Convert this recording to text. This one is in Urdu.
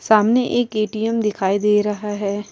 سامنے ایک ے.ٹ.م دکھائی دے رہا ہے۔